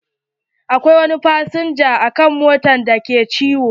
Akwai wani fasinja a mota da ke ciwo.